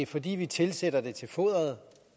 fordi vi tilsætter det til foderet og